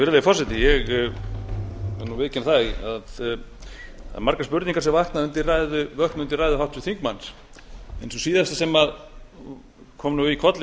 virðulegi forseti ég verð að viðurkenna það að margar spurningar vöknuðu undir ræðu háttvirts þingmanns sú síðasta sem kom í kollinn ef